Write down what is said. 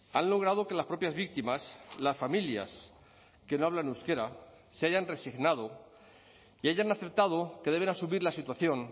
han logrado que las propias víctimas las familias que no hablan euskera se hayan resignado y hayan aceptado que deben asumir la situación